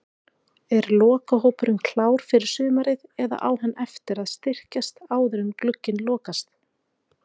Er lokahópurinn klár fyrir sumarið eða á hann eftir að styrkjast áður en glugginn lokast?